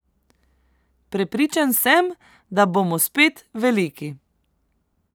Prepričan sem, da bomo spet veliki.